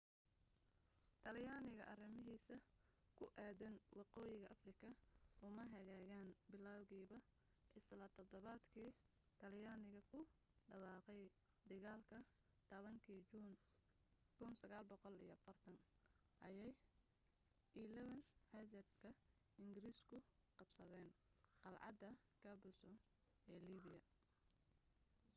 talyaaniga arrimahiisa ku aaddan waqooyiga afrika uma hagaagin bilowgiiba isla todobaadkii talyaaniga ku dhawaqay dagaalka 10-kii juun 1940 ayay 11th hussars ka ingiriisku qabsadeen qalcadda capuzzo ee liibiya